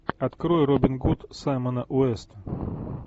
открой робин гуд саймона уэста